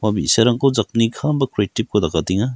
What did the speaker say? bi·sarangko jakni kam ba creative-ko dakatenga.